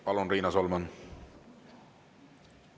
Palun, Riina Solman!